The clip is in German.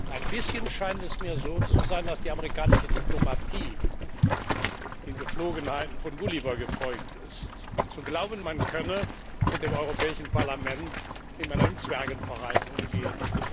Ein bisschen scheint es mir so zu sein, dass die amerikanische Diplomatie den Gepflogenheiten von Gulliver gefolgt ist, zu glauben, man könne mit dem Europäischen Parlament wie mit einem Zwergenverein umgehen.